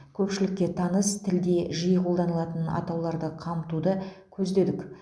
көпшілікке таныс тілде жиі қолданылатын атауларды қамтуды көздедік